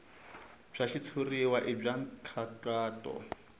bya xitshuriwa i bya nkhaqato